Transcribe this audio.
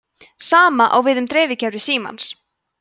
sama á við um dreifikerfi símans